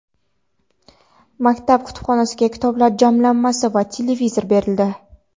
maktab kutubxonasiga kitoblar jamlanmasi va televizor berildi.